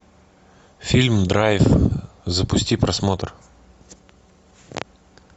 фильм драйв запусти просмотр